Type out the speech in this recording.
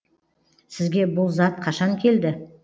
сізге бұл зат қашан келді